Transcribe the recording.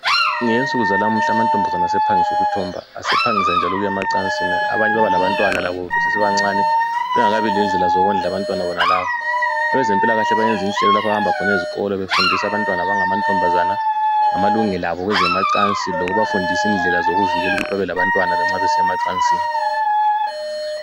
Ngensuku zanamuhla amantombazana sephangisa ukuthomba futhi asephangisa ukuya emacansini njalo asephangisa ukuba labantwana bengakabi lendlela zokuwondla abantwana bonalaba abezempilakahle bayahamba ezikolo befindisa amabantwana abangama ntombazana ngamalungelo abo kweze macinsini lokubafundisa indlela zokuzivikela nxa besiya emacansini